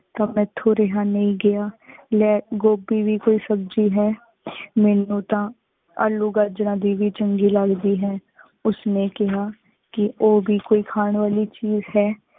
ਤਾ ਮੇਤ੍ਹੋ ਰੇਹਾ ਨਹੀ ਗਯਾ। ਲੈ ਗੋਬਿ ਵੀ ਕੋਈ ਸਬ੍ਜ਼ੀ ਹੈ। ਮੇਨੂ ਤਾ ਆਲੂ ਗਾਜਰਾਂ ਦੀ ਵੀ ਚੰਗੀ ਲਗਦੀ ਹੈ। ਉਸ ਨੇ ਕੇਹਾ, ਕੀ ਓਹ ਭੀ ਕੋਈ ਖਾਨ ਵਾਲੀ ਚੀਜ਼ ਹੈ।